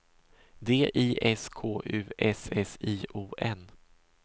D I S K U S S I O N